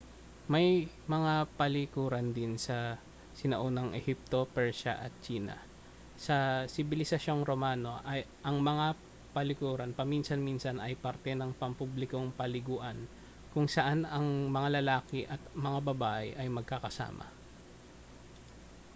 may mga palikuran din sa sinaunang ehipto persya at tsina sa sibilisasyong romano ang mga palikuran paminsan-minsan ay parte ng pampublikong paliguan kung saan ang mga lalaki at mga babae ay magkakasama